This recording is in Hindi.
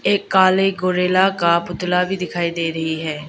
एक काले गोरिल्ला का पुतला भी दिखाई दे रही है।